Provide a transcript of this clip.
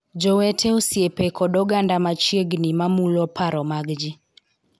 Jowete, osiepe kod oganda machiegni ma mulo paro mag ji,